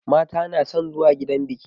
Mata na son zuwa gidan biƙi